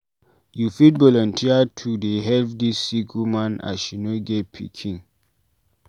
You fit volunteer to dey help dis sick woman as she no get pikin.